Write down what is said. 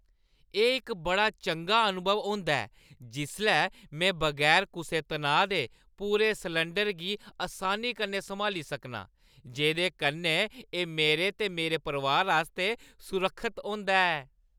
एह् इक बड़ा चंगा अनुभव होंदा ऐ जिसलै में बगैर कुसै तनाऽ दे पूरे सलैंडरै गी असानी कन्नै सम्हाली सकनां, जेह्दे कन्नै एह् मेरे ते मेरे परोआर आस्तै सुरक्खत होंदा ऐ।